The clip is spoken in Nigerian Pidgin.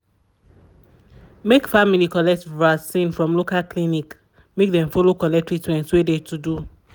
make family collect vaccin from local clinic make dem follow collect treatment wey de to do.